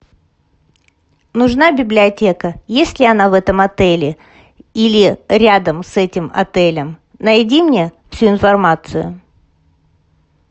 нужна библиотека есть ли она в этом отеле или рядом с этим отелем найди мне всю информацию